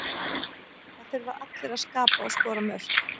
Það þurfa allir að skapa og skora mörk.